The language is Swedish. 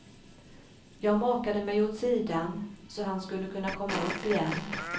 Jag makade mig åt sidan så han skulle kunna komma upp igen.